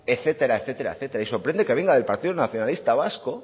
etcétera etcétera etcétera y sorprende que venga del partido nacionalista vasco